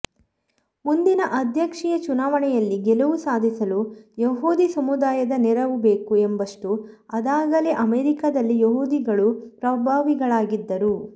ಮುಂದಿನ ಅಧ್ಯಕ್ಷೀಯ ಚುನಾವಣೆಯಲ್ಲಿ ಗೆಲುವು ಸಾಧಿಸಲು ಯಹೂದಿ ಸಮುದಾಯದ ನೆರವು ಬೇಕು ಎಂಬಷ್ಟು ಅದಾಗಲೇ ಅಮೆರಿಕದಲ್ಲಿ ಯಹೂದಿಗಳು ಪ್ರಭಾವಿಗಳಾಗಿದ್ದರು